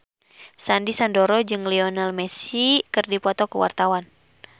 Sandy Sandoro jeung Lionel Messi keur dipoto ku wartawan